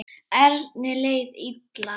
Erni leið illa.